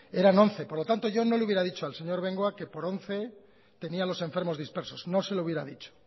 eran once por lo tanto yo no le hubiera dicho al señor bengoa que por once tenía los enfermos dispersos no se lo hubiera dicho